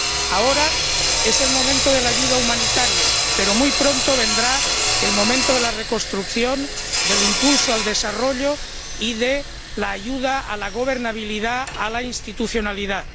Ahora es el momento de la ayuda humanitaria, pero muy pronto vendrá el momento de la reconstrucción, del impulso al desarrollo y de la ayuda a la gobernabilidad, a la institucionalidad.